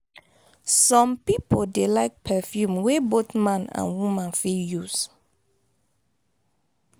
some pipo dey like perfume wey both man and woman fit use